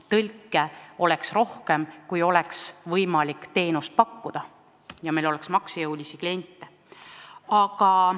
Tõlke oleks rohkem vaja, kui oleks võimalik teenust pakkuda ja meil oleks maksejõulisi kliente.